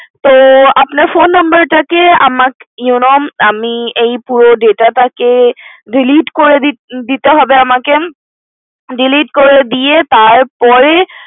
তো আপনার Phone Number টা কে you know আমি এই পুরো data টা কে delete করে দিতে হবে আমাকে delete করে দিয়ে তারপরে